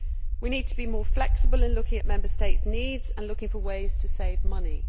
We need to be more flexible in looking at Member States' needs and looking for ways to save money.